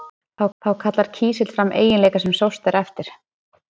Þá kallar kísill fram eiginleika sem sóst er eftir.